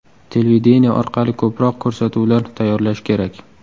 Televideniye orqali ko‘proq ko‘rsatuvlar tayyorlash kerak.